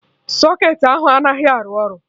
Socketị ahụ anaghị arụ ọrụ